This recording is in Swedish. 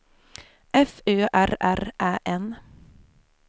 F Ö R R Ä N